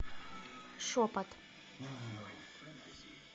шепот